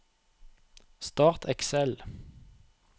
Start Excel